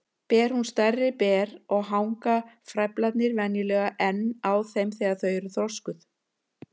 Ber hún stærri ber og hanga frævlarnir venjulega enn á þeim þegar þau eru þroskuð.